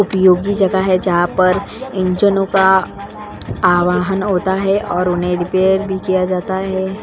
उपयोगी जगह है जहां पर इंजनों का आवाहन होता है और उन्हें रिपेयर भी किया जाता है।